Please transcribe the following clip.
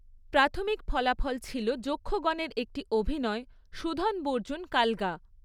প্রাথমিক ফলাফল ছিল যক্ষগণের একটি অভিনয়, 'সুধনবর্জুন কালগা'।